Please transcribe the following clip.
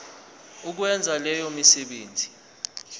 ukwenza leyo misebenzi